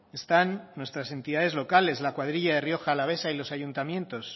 están nuestras entidades locales la cuadrilla de rioja alavesa y los ayuntamientos